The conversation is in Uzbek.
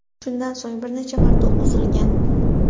Shundan so‘ng bir necha marta o‘q uzilgan.